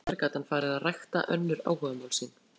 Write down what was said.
Nokkrum árum síðar gat hann farið að rækta önnur áhugamál sín.